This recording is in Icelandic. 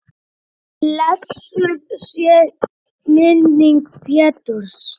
Blessuð sé minning Péturs.